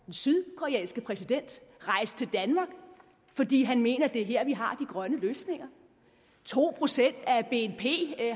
den sydkoreanske præsident rejse til danmark fordi han mener det er her vi har de grønne løsninger to procent af bnp